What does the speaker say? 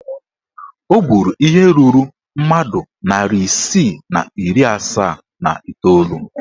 O gburu ihe ruru mmadụ narị isii na iri asaa na iteolu.